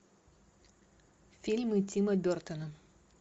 фильмы тима бертона